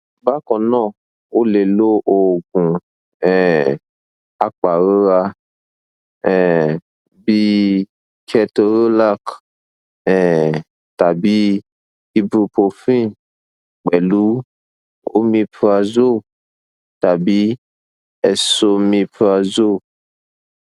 bákan náà o lè lo oògùn um apàrora um bíi ketorolac um tàbí ibuprofen pẹlú omeprazole tàbí esomeprazole